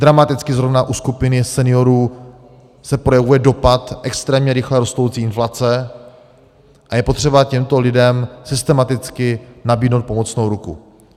Dramaticky zrovna u skupiny seniorů se projevuje dopad extrémně rychle rostoucí inflace a je potřeba těmto lidem systematicky nabídnout pomocnou ruku.